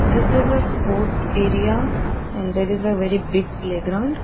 this is a sport area and there is a very big playground.